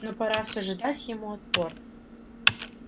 но пора всё же дать ему отпор